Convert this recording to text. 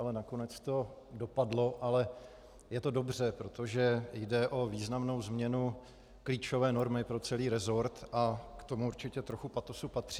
Ale nakonec to dopadlo a je to dobře, protože jde o významnou změnu klíčové normy pro celý resort a k tomu určitě trochu patosu patří.